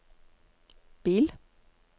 bil